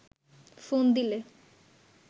phone দিলে